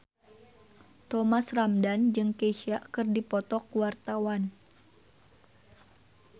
Thomas Ramdhan jeung Kesha keur dipoto ku wartawan